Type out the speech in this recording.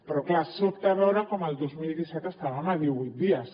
però clar sobta veure com el dos mil disset estàvem a divuit dies